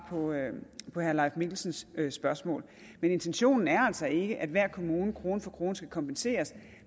på herre leif mikkelsens spørgsmål men intentionen er altså ikke at hver kommune krone for krone skal kompenseres